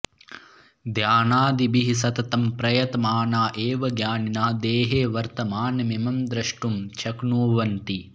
ध्यानादिभिः सततं प्रयतमाना एव ज्ञानिनः देहे वर्तमानमिमं द्रष्टुं शक्नुवन्ति